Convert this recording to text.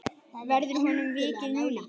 Verður honum vikið núna?